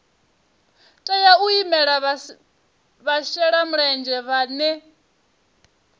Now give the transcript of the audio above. tea u imela vhashelamulenzhe vhane